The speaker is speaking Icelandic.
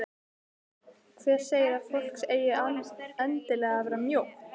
Hver segir að fólk eigi endilega að vera mjótt?